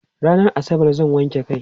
rannan asabar zan wanke kai